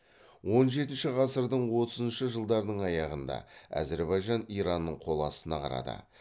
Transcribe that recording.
он жетінші ғасырдың отызыншы жылдарының аяғында әзірбайжан иранның қол астына қарады